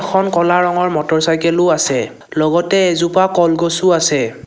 এখন ক'লা ৰঙৰ মটৰচাইকেলও আছে লগতে এজোপা কলগছো আছে।